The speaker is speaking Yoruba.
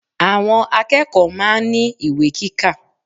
Àwọn akẹ́kọ̀ọ́ máa ń ní ìwé kíkà.